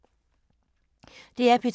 DR P2